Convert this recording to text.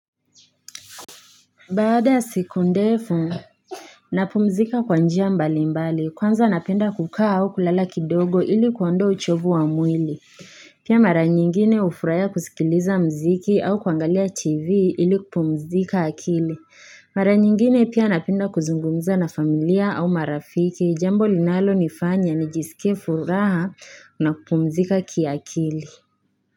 Baada ya siku ndefu napumzika kwa njia mbalimbali, kwanza napenda kukaa au kulala kidogo ili kuondoa uchovu wa mwili Pia mara nyingine hufurahia kusikiliza muziki au kuangalia tv ili kupumzika akili Mara nyingine pia napenda kuzungumza na familia au marafiki, jambo linalonifanya nijisike furaha na kupumzika kiakili.